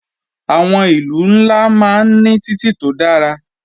Àwọn ìlú ńlá máa ń ní títì tó dára